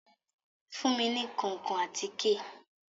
Fun mi ní kankan àtike